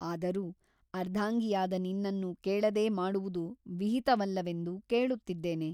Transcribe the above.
ಅದರೂ ಅರ್ಧಾಂಗಿಯಾದ ನಿನ್ನನ್ನು ಕೇಳದೆ ಮಾಡುವುದು ವಿಹಿತವಲ್ಲವೆಂದು ಕೇಳುತ್ತಿದ್ದೇನೆ.